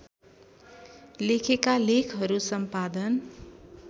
लेखेका लेखहरू सम्पादन